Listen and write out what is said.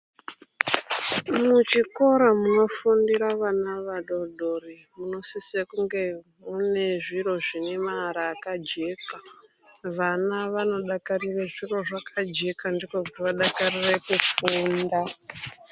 Muchikoro munofundira vana vadodori, munosise kunge munezviro zvinemara akajeka. Vana vanodakarire zviro zvakajeka, ndiko kuti vadakarire kufunda